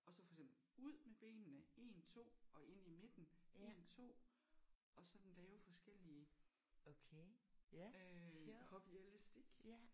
Og så for eksempel ud med benene 1 2 og ind i midten 1 2 og sådan lave forskellige hop i elastik